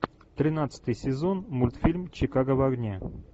тринадцатый сезон мультфильм чикаго в огне